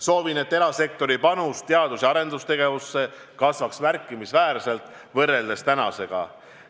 Soovin, et erasektori panus teadus- ja arendustegevusse kasvaks märkimisväärselt võrreldes praegusega.